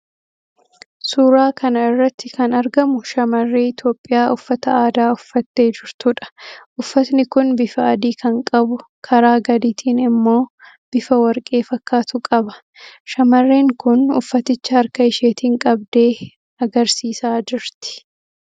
Suuraa kana irratti kan argamu shamarree Itiyoophiyaa uffata aadaa uffattee jirtuudha. Uffatni kun bifa adii kan qabu, karaa gadiitiin immoo bifa warqee fakkaatu qaba. Shamarreen kun uffaticha harka isheetiin qabdee agarsiisaa jirti.